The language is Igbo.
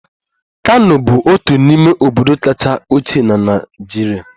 Kano bụ otu n'ime obodo kacha ochie na Naịjirịa